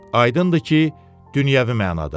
Aydındır ki, dünyəvi mənada.